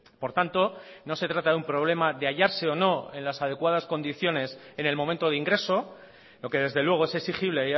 por tanto no se trata de un problema de hallarse o no en las adecuadas condiciones en el momento de ingreso lo que desde luego es exigible